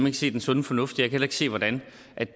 ikke se den sunde fornuft i heller ikke se hvordan